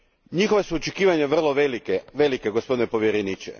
Njihova su očekivanja vrlo velika gospodine povjereniče.